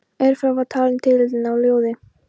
Ef frá var talinn titillinn á ljóði